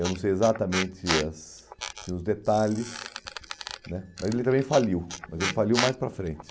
Eu não sei exatamente as assim os detalhes né, mas ele também faliu, mas ele faliu mais para frente.